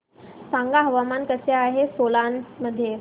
सांगा हवामान कसे आहे सोलान मध्ये